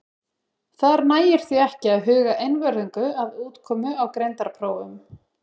Þar nægir því ekki að huga einvörðungu að útkomu á greindarprófum.